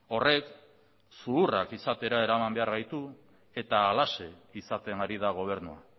horrek zuhurrak izatera eraman behar gaitu eta halaxe izaten ari da gobernua